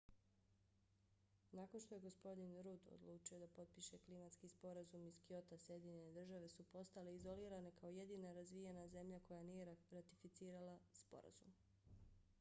nakon što je gospodin rudd odlučio da potpiše klimatski sporazum iz kyota sjedinjene države su postale izolirane kao jedina razvijena zemlja koja nije ratificirala sporazum